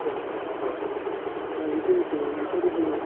তেওঁলোকে নাযায় মানে